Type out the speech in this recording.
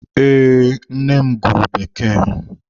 Ee, nne m gụrụ Bekee.